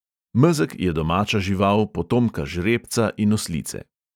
Mezeg je domača žival, potomka žrebca in oslice.